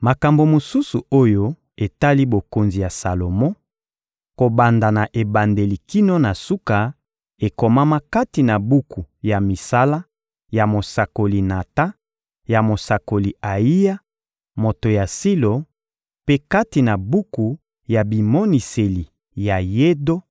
Makambo mosusu oyo etali bokonzi ya Salomo, kobanda na ebandeli kino na suka, ekomama kati na buku ya misala ya mosakoli Natan, ya mosakoli Ayiya, moto ya Silo; mpe kati na buku ya bimoniseli ya Yedo,